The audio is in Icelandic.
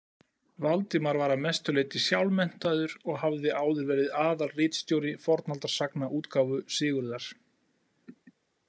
Valdimar var að mestu leyti sjálfmenntaður og hafði áður verið aðalritstjóri fornaldarsagnaútgáfu Sigurðar.